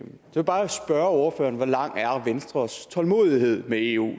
vil bare spørge ordføreren hvor lang er venstres tålmodighed med eu